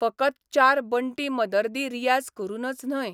फकत चार बण्टीं मदर्दी रियाझ करूनच न्हय....